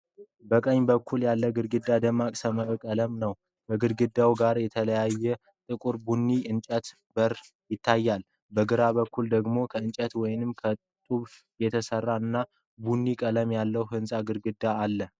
በቀኝ በኩል ያለው ግድግዳ ደማቅ ሰማያዊ ቀለም ነው። ከግድግዳው ጋር የተጣበቀ ጥቁር ቡኒ የእንጨት በር ይታያል። በግራ በኩል ደግሞ ከጭቃ ወይም ከጡብ የተሠራ እና ቡኒ ቀለም ያለው የሕንፃ ግድግዳ አለ፡፡